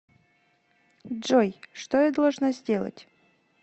джой что я должна сделать